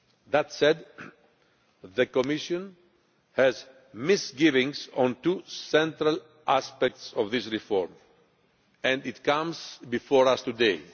That said, the Commission has misgivings on two central aspects of this reform, and this comes before us today.